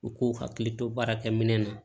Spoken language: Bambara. U k'u hakili to baarakɛ minɛn na